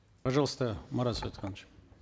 пожалуйста марат